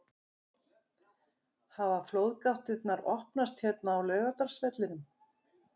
Hafa flóðgáttirnar opnast hér á Laugardalsvellinum??